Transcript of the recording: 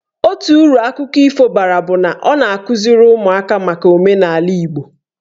Otu uru akụkọ ifo bara bụ na ọ na-akụziri ụmụaka maka omenaala Igbo.